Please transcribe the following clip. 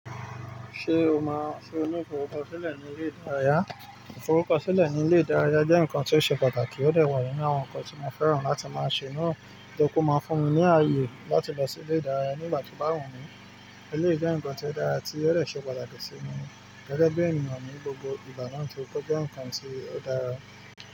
Ṣé o máa- ṣe o ní iforukosile sílẹ̀ ní ilé ìdárayá? Iforukosile ní ilé ìdárayá jẹ́ nǹkan tí ó ṣe pàtàkì ó de wà nínú àwọn nǹkan tí mo fẹ́ràn láti máa ṣe náà. Nítorí pe o máa fún mi ní àyè láti lọ sí ilé ìdárayá ní ìgbà tí o bá wù mí. Eléyìí jẹ́ nǹkan tí ó dára tí ó dè ṣe pàtàkì sí mi gẹ́gẹ́ bí ènìyàn ní gbogbo ìgbà náà torí pé ó jẹ́ nǹkan tí ó dára.